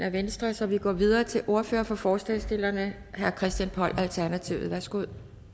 af venstre så vi går videre til ordføreren for forslagsstillerne herre christian poll alternativet værsgo